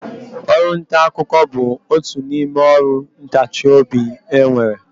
Ọrụntaakụkọ bụ otu n'ime ọrụ ntachiobi e nwere